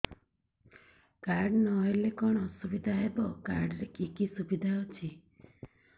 card ନହେଲେ କଣ ଅସୁବିଧା ହେବ କାର୍ଡ ରେ କି କି ସୁବିଧା ଅଛି